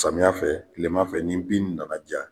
Samiyɛ fɛ tilema fɛ ni bin nana ja